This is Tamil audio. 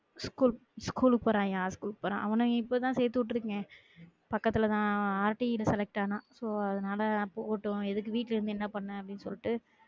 ஸ்கூ~ ஸ்கூல்க்கு போறாயான் ஸ்கூல்க்கு போறான் அவன இப்பதான் சேத்துவிட்டு இருக்கேன் பக்குத்துல தான் R T ல select ஆனான் so அதனால போகட்டும் எதுக்கு வீட்டுல இருந்து என்ன பண்ண அப்டின்னு சொல்லிட்டு